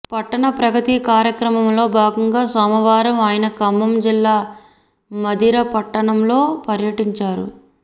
పట్టణప్రగతి కార్యక్రమంలో భాగంగా సోమవారం ఆయన ఖమ్మం జిల్లా మధిర పట్టణంలో పర్యిటించారు